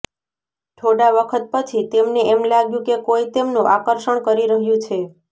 થોડા વખત પછી તેમને એમ લાગ્યું કે કોઈ તેમનું આકર્ષણ કરી રહ્યું છે